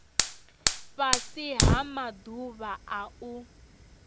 fhasi ha maḓuvha a u